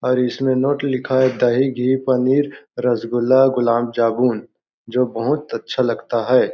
और इसमें नोट लिखा है दही घी पनीर रसगुल्ला गुलाम जाबुन जो बहुत अच्छा लगता है।